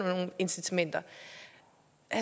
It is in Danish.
nogle incitamenter